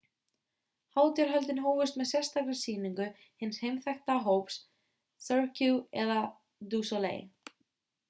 hátíðarhöldin hófust með sérstakri sýningu hins heimþekkta hóps cirque du soleil